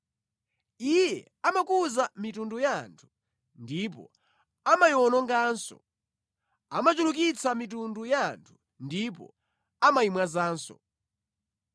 Iye amakuza mitundu ya anthu ndipo amayiwononganso; amachulukitsa mitundu ya anthu ndipo amayimwazanso.